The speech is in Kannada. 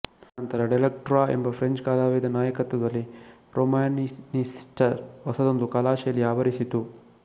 ಅನಂತರ ಡೆಲಕ್ವ್ರಾ ಎಂಬ ಫ್ರೆಂಚ್ ಕಲಾವಿದನ ನಾಯಕತ್ವದಲ್ಲಿ ರೊಮ್ಯಾನ್ಟಿಸಿಸ್ಟರ ಹೊಸದೊಂದು ಕಲಾಶೈಲಿ ಆವರಿಸಿತು